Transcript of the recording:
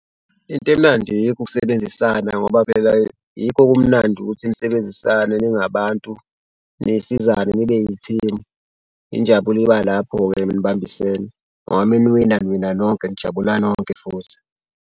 Into emnandi yikho ukusebenzisana ngoba phela yikho okumnandi ukuthi nisebenzisane ningabantu nisizane nibe i-team. Injabulo iba lapho-ke nibambisene ngoba uma niwina niwina nonke nijabula nonke futhi.